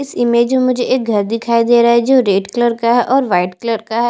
इस इमेज एक घर दिखाई दे रहा है जो रेड कलर का है और वाइट कलर का है।